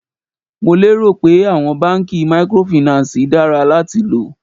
Mo lé rò pé àwọn báńkì mikorofìnánsìì dára láti lò.